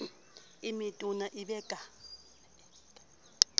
e metona e be ka